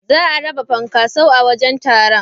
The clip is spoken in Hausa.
Za a raba funkaso a wajen taron.